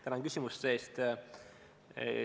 Tänan küsimuste eest!